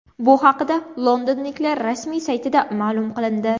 Bu haqida londonliklar rasmiy saytida ma’lum qilindi .